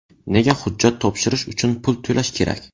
Nega hujjat topshirish uchun pul to‘lash kerak?